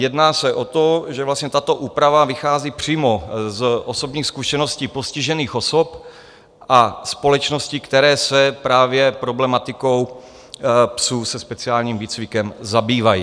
Jedná se o to, že vlastně tato úprava vychází přímo z osobních zkušeností postižených osob a společností, které se právě problematikou psů se speciálním výcvikem zabývají.